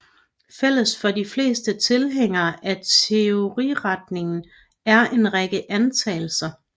Fælles for de fleste tilhængere af teoriretningen er en række antagelser